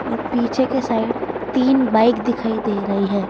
और पीछे के साइड तीन बाइक दिखाई दे रही है।